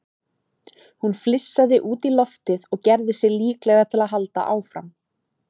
Hún flissaði út í loftið og gerði sig líklega til að halda áfram.